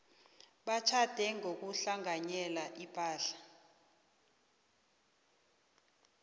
batjhade ngokuhlanganyela ipahla